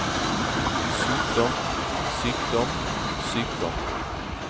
sykdom sykdom sykdom